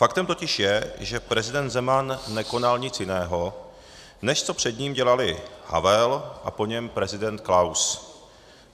Faktem totiž je, že prezident Zeman nekonal nic jiného, než co před ním dělali Havel a po něm prezident Klaus.